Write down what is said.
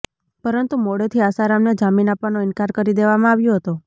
પરંતુ મોડેથી આસારામને જામીન આપવાનો ઇન્કાર કરી દેવામાં આવ્યો હતો